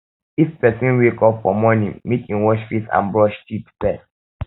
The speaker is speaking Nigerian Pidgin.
if person um wake up for morning make in wash face and brush teeth first